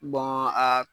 a